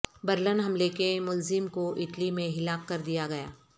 Berlin حملے کے ملزم کو اٹلی میں ہلاک کر دیا گیا